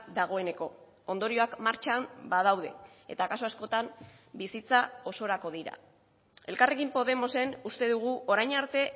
dagoeneko ondorioak martxan badaude eta kasu askotan bizitza osorako dira elkarrekin podemosen uste dugu orain arte